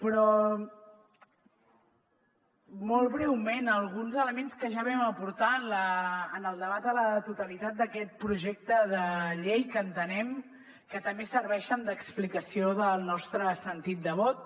però molt breument alguns elements que ja vam aportar en el debat a la totalitat d’aquest projecte de llei que entenem que també serveixen d’explicació del nostre sentit de vot